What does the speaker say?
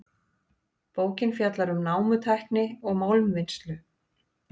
Bókin fjallar um námutækni og málmvinnslu.